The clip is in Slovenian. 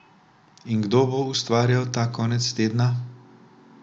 In kdo bo ustvarjal ta konec tedna?